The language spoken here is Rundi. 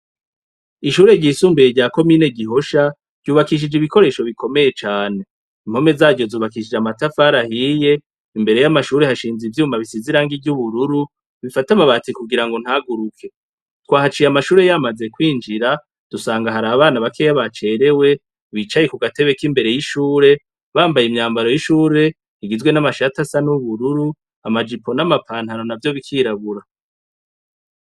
Ishure ryisumbuye rya komine Gihosha ryubakishije ibikoresho bikomeye cane. Impome zaryo zubakishijwe amatafari ahiye, imbere yamashuri hashinze ivyuma bisize irangi ryubururu, bifata amabati kugirango ntaguruke. Twahaciye amashuri yamaze kwinjira, dusanga harabana bakeya bacerewe, bicaye kugatebe kimbere y'ishure bambaye imyambaro y'ishure igizwe n'amashati asa nubururu, amajipo nama pantaro navyo bikirabura.